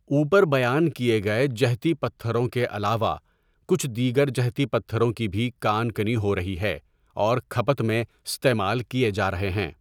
اوپر بیان کیے گئے جہتی پتھروں کے علاوہ کچھ دیگر جہتی پتھروں کی بھی کان کنی ہو رہی ہے اور کھپت میں استعمال کیے جا رہے ہیں۔